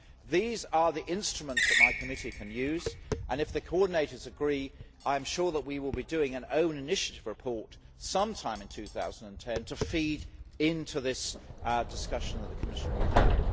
These are the instruments that my committee can use and, if the coordinators agree, I am sure that we will be doing an own initiative report sometime in 2010 to feed into this discussion that the Commission will have.